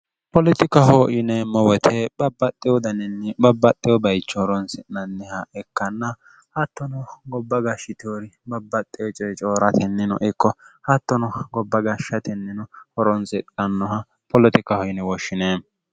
poloxikaho yine mowote babbaxxe wodaninni babbaxxe wo bayicho horonsi'nanniha ikkanna hattono gobba gashshitoori babbaxxe ocoe coo'ratennino ikko hattono gobba gashshatennino horonsinannoha poloxikaho yine woshshine